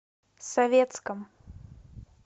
советском